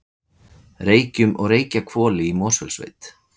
Reykjum og Reykjahvoli í Mosfellssveit.